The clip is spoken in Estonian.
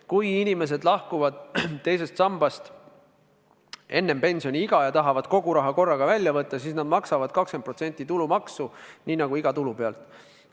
Kui inimesed lahkuvad teisest sambast enne pensioniiga ja tahavad kogu raha korraga välja võtta, siis nad maksavad 20% tulumaksu nii nagu iga tulu pealt.